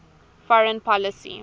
foreign policy